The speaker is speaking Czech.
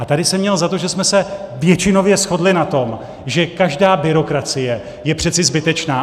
A tady jsem měl za to, že jsme se většinově shodli na tom, že každá byrokracie je přece zbytečná.